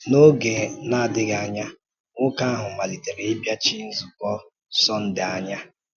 N’oge na-adịghị anya, nwoke ahụ malitere ịbịachi nzukọ Sọndee anya.